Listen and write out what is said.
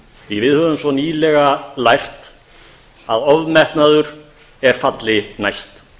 því að við höfum svo nýlega lært að ofmetnaður er falli næst